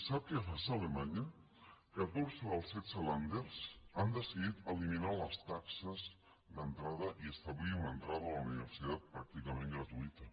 sap què passa a alemanya catorze dels setze länder han decidit eliminar les taxes d’entrada i establir una entrada a la universitat pràcticament gratuïta